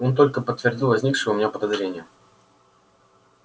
он только подтвердил возникшее у меня подозрение